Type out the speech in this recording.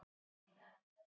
Pétur og fleiri.